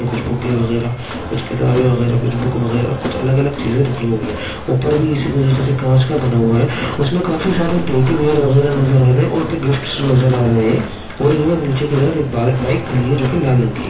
कुछ बुके वगेरा कुछ किताबे वगेरा कुछ बुक वगेर कुछ अलग अलग चीज़े राखी हुई हैं ऊपर भी इस तरह से कांच का बना हुआ हैं उसमे काफी सारे टेडी बेयर वगेरा नजर आ रहे हैं और गिफ्ट्स नजर आ रहे हैं और यह नीचे की तरफ एक बा-बाइक खड़ी हैं जो के लाल रंग की हैं।